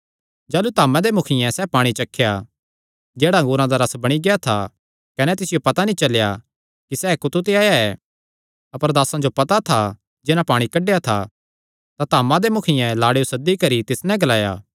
जाह़लू धामा दे मुखियें सैह़ पाणी चखेया जेह्ड़ा अंगूरा दा रस बणी गेआ था कने तिसियो पता नीं चलेया कि सैह़ कुत्थू ते आया ऐ अपर दासां जो पता था जिन्हां पाणी कड्डेया था तां धामा दे मुखियें लाड़ेयो सद्दी करी तिस नैं ग्लाया